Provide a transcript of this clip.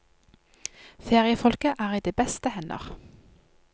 Feriefolket er i de beste hender.